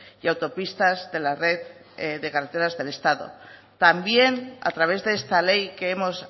y autopistas de la red de carreteras del estado también a través de esta ley que hemos